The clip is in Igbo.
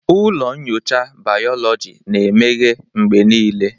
Ụlọ nyocha bayoloji na-emeghe mgbe niile.